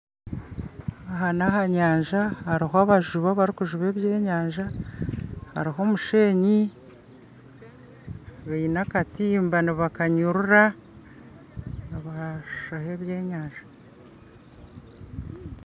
Aha ni aha nyanja hariho abajubi abarukujuba ebyenyanja hariho omusheenyi baine akatimba nibakanyurra nibashoha ebyenyanja